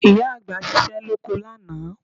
Ìyá àgbà ṣiṣẹ́ lóko lánàá